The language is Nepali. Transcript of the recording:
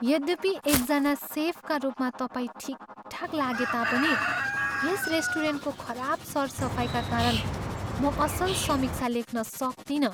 यद्यपि एकजना सेफका रूपमा तपाईँ ठिकठाक लागे तापनि, यस रेस्टुरेन्टको खराब सरसफाइका कारण म असल समीक्षा लेख्न सक्तिनँ।